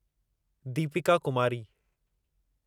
Deepika Kumari